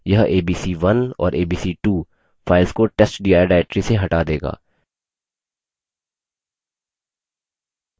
यह abc1 और abc2 files को testdir directory से हटा देगा